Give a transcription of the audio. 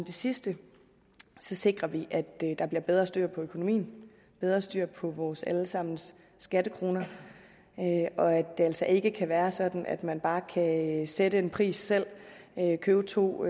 det sidste sikrer vi at der der bliver bedre styr på økonomien bedre styr på vores alle sammens skattekroner og at det altså ikke kan være sådan at man bare kan sætte en pris selv købe to